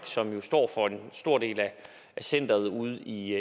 som jo står for en stor del af centeret ude i